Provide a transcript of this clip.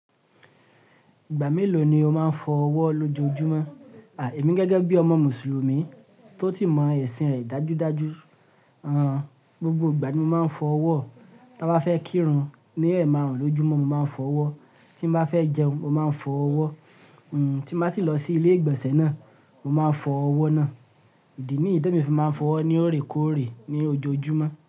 Ìgbà mélòó ni o máa ń fọ ọwọ́ lójoojúmọ́? Àì, èmi gẹ́gẹ́ bí ọmọ mùsùlùmí tó si mọ ẹ̀sìn rẹ̀ dájúdájú, ẹn, gbogbo ìgbà ní mo máa ń fọ ọwọ́, tí mo bá fẹ́ kírun, ní ẹ̀ màrùn lójoojúmọ́ mo máa ń fọ ọwọ́, tí mo bá fẹ́ jẹun mo máa ń fọ ọwọ́, tí mo sì lọ sí ilé ìgbọ̀sẹ̀ náà, mo máa fọ ọwọ́ náà. Idì níyi temi fi máa ń fọ ọwọ́ ni óorèkórè ní ojoojúmọ́.